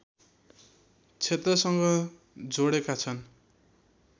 क्षेत्रसँग जोडेका छन्